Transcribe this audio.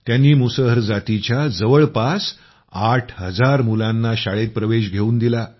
त्यांनी मुसहर जातीच्या जवळपास आठ हजार मुलांना शाळेत प्रवेश घेवून दिला